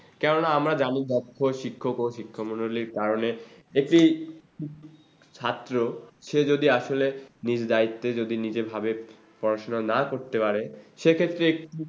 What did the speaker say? কেননা আমরা জানি দক্ষ শিক্ষকমন্ডলীর কারণে একটি ছাত্র সে যদি আসলে নিজ দায়িত্বে যদি নিজে ভাবে পড়াশুনা না করতে পারে সেক্ষেত্রে এ